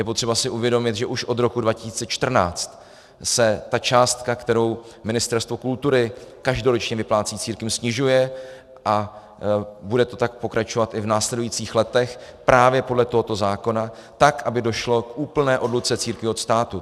Je potřeba si uvědomit, že už od roku 2014 se ta částka, kterou Ministerstvo kultury každoročně vyplácí církvím, snižuje a bude to tak pokračovat i v následujících letech právě podle tohoto zákona, tak aby došlo k úplné odluce církví od státu.